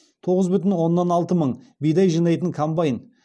тоғыз бүтін оннан алты бидай жинайтын комбайн